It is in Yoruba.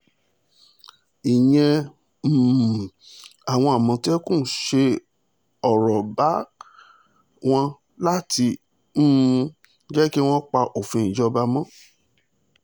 ìyẹn um làwọn àmọ̀tẹ́kùn ṣe lọ́ọ́ bá wọn láti um jẹ́ kí wọ́n pa òfin ìjọba mọ́